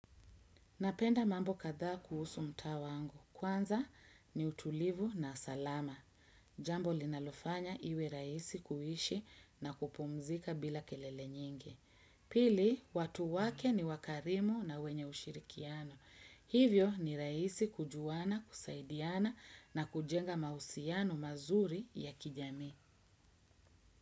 Napenda mambo kadhaa kuhusu mtaa wangu. Kwanza ni utulivu na salama. Jambo linalofanya iwe raisi kuishi na kupumzika bila kelele nyingi. Pili, watu wake ni wakarimu na wenye ushirikiano. Hivyo ni raisi kujuana, kusaidiana na kujenga mahusiano mazuri ya kijamii.